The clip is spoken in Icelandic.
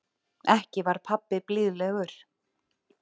Ekki var pabbi blíðlegur.